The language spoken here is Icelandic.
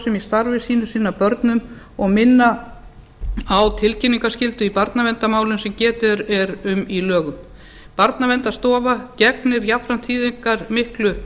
í starfi sínu sinna börnum og minna á tilkynningarskyldu í barnaverndarmálum sem getið er um í lögum barnaverndarstofa gegnir jafnframt þýðingarmiklu